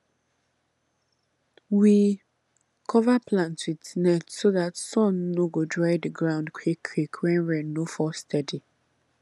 we cover plant with net so dat sun no go dry the ground quick quick when rain no fall steady